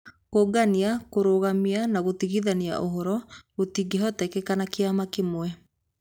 Kũũngania, kũrũgamia na gũtigithania ũhoro gũtingĩhoteka nĩ kĩama kĩmwe